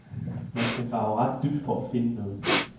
Man skal grave ret dybt for at finde noget.